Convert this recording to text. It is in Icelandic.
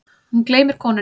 Hún gleymir konunni.